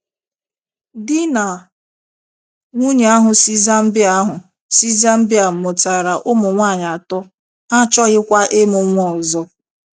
Di na nwunye ahụ si Zambia ahụ si Zambia mụtara ụmụ nwaanyị atọ, ha achọghịkwa ịmụ nwa ọzọ.